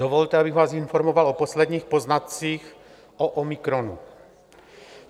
Dovolte, abych vás informoval o posledních poznatcích o omikronu.